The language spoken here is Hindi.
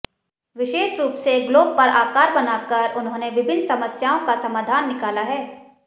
विशेष रूप से ग्लोब पर आकार बनाकर उन्होंने विभिन्न समस्याओं का समाधान निकाला है